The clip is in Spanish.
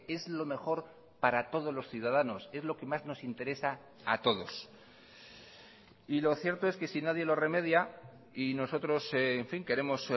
es lo mejor para todos los ciudadanos es lo que más nos interesa a todos y lo cierto es que si nadie lo remedia y nosotros en fin queremos